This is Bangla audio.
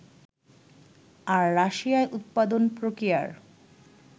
আর রাশিয়ায় উৎপাদন-প্রক্রিয়ার